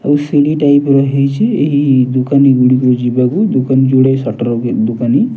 ଆଉ ସିଡି ଟାଇପ୍ ର ହେଇଚି ଏହି ଦୁକାନି ଗୁଡ଼ିକୁ ଯିବାକୁ ଦୁକାନ ଯୁଡେ ସଟର ଦୁକାନି।